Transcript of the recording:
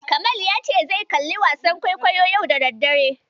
Kamal ya ce zai kalli wasan kwaikwayo yau da daddare.